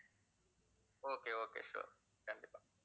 okay, okay, sure கண்டிப்பா